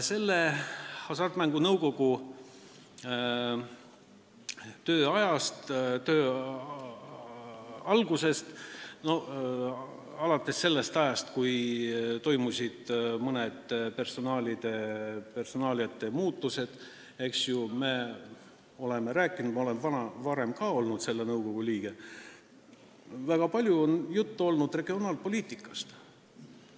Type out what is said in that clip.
Alates Hasartmängumaksu Nõukogu töö algusest, alates sellest ajast, kui toimusid mõned personalimuudatused, me oleme rääkinud – ma olen ka varem olnud selle nõukogu liige – regionaalpoliitikast.